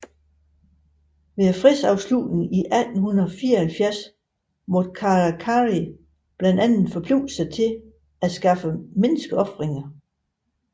Ved fredsslutningen 1874 måtte Karakari blandt andet forpligte sig til at afskaffe menneskeofringerne